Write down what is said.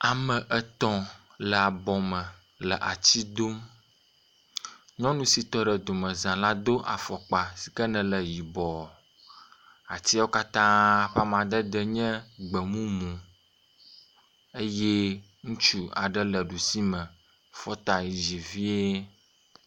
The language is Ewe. Ame etɔ̃ le abɔ me le atsi dom. Nyɔnu sit e ɖe domeza la do afɔkpa yi ke ne le yibɔ. Atiawo katã ƒe amadede nye gbemumu eye ŋutsu aɖe le ɖusime fɔta yi dzi vie.